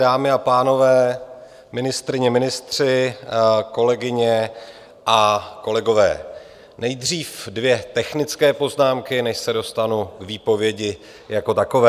Dámy a pánové, ministryně, ministři, kolegyně a kolegové, nejdřív dvě technické poznámky, než se dostanu k výpovědi jako takové.